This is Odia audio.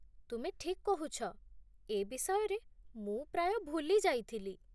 ତୁମେ ଠିକ୍ କହୁଛ, ଏ ବିଷୟରେ ମୁଁ ପ୍ରାୟ ଭୁଲି ଯାଇଥିଲି।